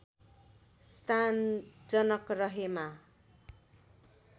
स्थान जनक रहेमा